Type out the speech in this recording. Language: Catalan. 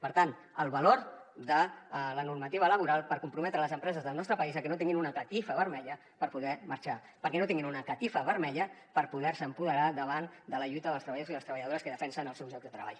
per tant el valor de la normativa laboral per comprometre les empreses del nostre país a que no tinguin una catifa vermella per poder marxar perquè no tinguin una catifa vermella per poder se empoderar davant de la lluita dels treballadors i les treballadores que defensen els seus llocs de treball